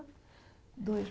Dois.